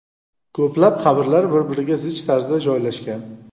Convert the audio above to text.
Ko‘plab qabrlar bir-biriga zich tarzda joylashgan.